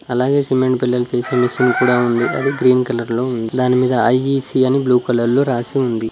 అలాగే సిమెంట్ పిల్లలు చేసే మెషిన్ కూడా ఉంది అది గ్రీన్ కలర్ లో ఉంది దాని మీద ఐ_ఈ_సి అని బ్లూ కలర్ లో రాసి ఉంది.